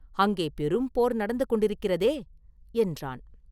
அங்கே பெரும் போர் நடந்து கொண்டிருக்கிறதே?” என்றான்.